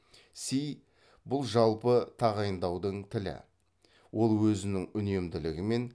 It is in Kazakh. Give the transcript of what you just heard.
си бұл жалпы тағайындаудың тілі ол өзінің үнемділігімен